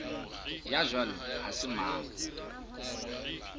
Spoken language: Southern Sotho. ya jwalo ha se mang